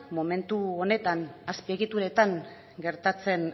momentu honetan azpiegituretan gertatzen